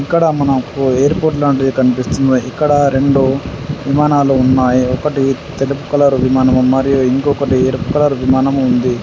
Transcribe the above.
ఇక్కడ మనకు ఎయిర్పోర్ట్ లాంటిది కనిపిస్తుంది. ఇక్కడ రెండు విమానాలు ఉన్నాయి. ఒకటి తెలుపు కలర్ విమానము మరియు ఇంకొకటి ఎరుపు కలర్ విమానము ఉంది.